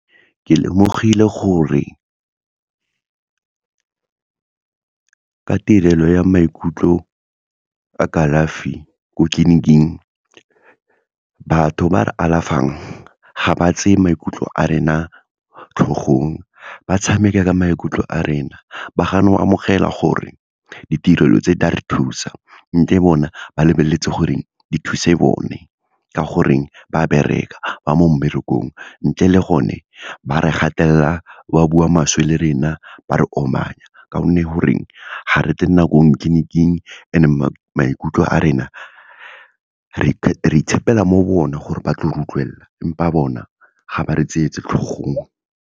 Ke lemogile gore, ka tirelo ya maikutlo a kalafi ko tleliniking batho ba re alafang, ga ba tseye maikutlo a rena tlhogong, ba tshameka ka maikutlo a rena, ba gana go amogela gore, ditirelo tse di a re thusa, le bona ba lebeletse gore di thuse bone, ka goreng ba bereka, ba mo mmerekong. Ntle le gone, ba re gatelela, ba bua maswe le rena, ba re omanya ka gonne goreng, ga re tle nakong tleniking, and-e maikutlo a rena, re itshepela mo bona gore ba tlo re utlwelela, empa bona ga ba re tlhogong.